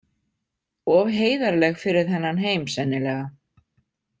Of heiðarleg fyrir þennan heim, sennilega.